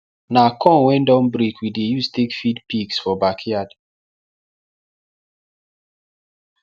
na corn wen don break we dey use take feed pigs for backyard